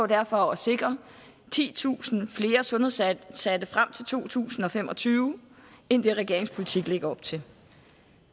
derfor at sikre titusind flere sundhedsansatte frem til to tusind og fem og tyve end det regeringens politik lægger op til